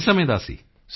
ਕਿੰਨੇ ਸਮੇਂ ਦਾ ਸੀ